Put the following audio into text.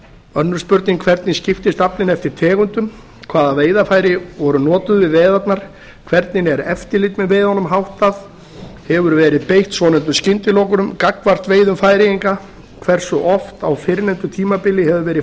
önnur spurning hvernig skiptist aflinn eftir tegundum hvaða veiðarfæri voru notuð við veiðarnar hvernig er eftirliti með veiðunum háttað hefur verið beitt svonefndum skyndilokunum gagnvart veiðum færeyinga hversu oft á fyrrnefndu tímabili hefur verið